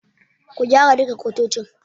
Ku gyara duka kwatocin.